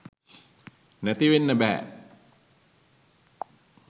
නැති වෙන්න බෑ.